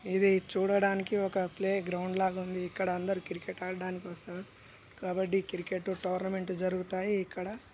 చూడడానికి ఒక playground లాగా ఉంది ఇక్కడ అందరు క్రికెట్ ఆడదానికి వస్తారు కబడ్డీ క్రికెట్ టోర్నమెంట్ జరుగుతాయి ఇక్కడ.